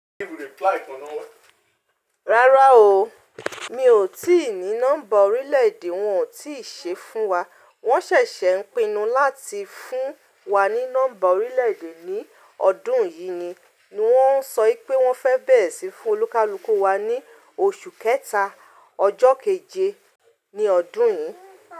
Rárá o, mi ò tí ì ní nọ́mbà orílẹ̀ èdè, wọn ò tíì ṣe fún wa. Wọ́n ṣẹ̀ṣẹ̀ ń pinnu láti fún wa ní nọ́mbà orílẹ̀ èdè ní ọdún yìí ni, wọ́n ń sọ pé wọ́n fẹ́ bẹ̀rẹ̀ síí fún olúkalúkù wa ní oṣù kẹta, ọjọ́ keje ní ọdún yìí.